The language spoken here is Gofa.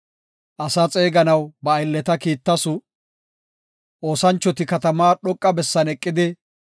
Asaa xeeganaw ba aylleta kiittasu; oosanchoti katamaa dhoqa bessan eqidi,